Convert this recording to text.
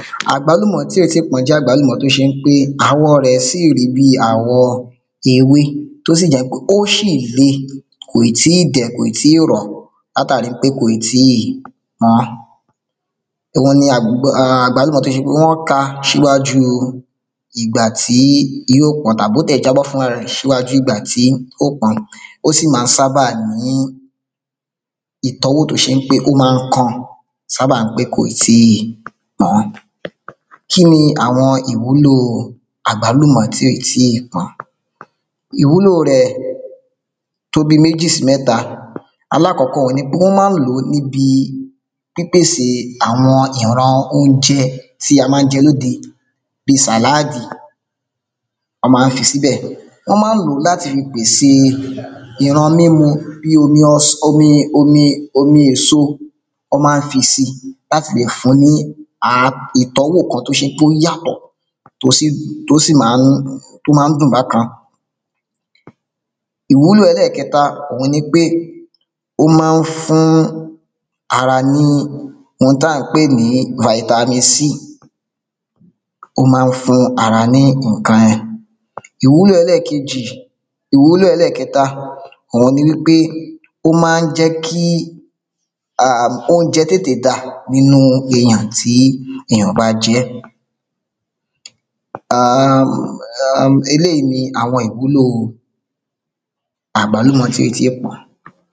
Àgbálúmọ̀tí ò tí ì pọ́n jẹ́ àgbálúmọ̀ tó ṣe ń pé àwọ rẹ sì rí bí àwọ̀ ewé tó sì jẹ́ pé ó ṣì le kò ì tí ì dẹ̀ kò ì tíì rọ látàrí pé kò ì tíì pọ́n òhun um ni àgbálúmọ̀ tó ṣe pé wọ́n ka ṣíwájú ìgbà tí yí ó pọ́n tàbó tẹ̀ jábọ́ fúnra rẹ̀ ṣíwájú ìgbà tí ó pọn ó sì má ń sábà ní ìtọ́wọ̀ tó ṣe ń pé ó máa ń kan sábà ń pé kò ì tíì pọ́n kí ní àwọn ìwúlò àgbálúmọ̀ tí ò ì tíì pọ́n ìwúlò rẹ̀ tó bí méjì sí mẹ́ta alákọ́kọ́ ni pé wọ́n má ń lò nibi pípèsè àwọn ìran óunjẹ tí a má ń jẹ lóde bi sàláàdì wọ́n má ń fi síbẹ̀ ọ́ má ń lò láti fi pèse ìran mímu bí omi ọs omi omi omi èso ọ́ má ń fi si láti lè fun ní um ìtọ́wọ̀ kan tó ṣe pé óyàtọ̀ tó sì má ń tó má ń dùn bákan ìwúlò ẹlẹ́kẹta òhun ní pé ó má ń fún ara ní ohun tá ń pè ní vitamin C ó má ń fún ara ní ǹkan yẹ̀n ìwúlò ẹlẹ́ẹ̀kejì ìwúlò ẹlẹ́ẹ̀kẹta òun ni wí pé ó má ń jẹ́ kí um óunjẹ tètè dà nínú èyàn tí èyàn bá jẹ́ ẹ́ um um eléyí ní àwọn ìwúlò àgbálúmò tí è tíì pọ́n